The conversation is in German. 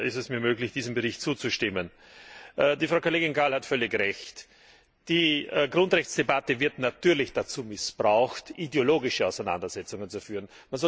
Vielleicht ist es mir möglich, diesem Bericht zuzustimmen. Frau Kollegin Gál hat völlig Recht Die Grundrechtsdebatte wird natürlich dazu missbraucht, ideologische Auseinandersetzungen zu führen.